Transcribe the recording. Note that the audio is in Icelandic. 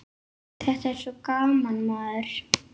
Þetta er svo gaman, maður.